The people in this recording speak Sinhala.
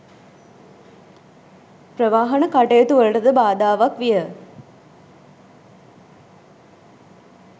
ප්‍රවාහන කටයුතු වලටද බාධාවක් විය